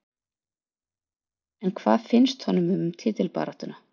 En hvað finnst honum um titilbaráttuna?